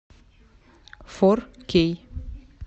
фор кей